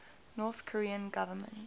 north korean government